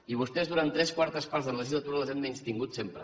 i vostès durant tres quartes parts de la legislatura les han menystingudes sempre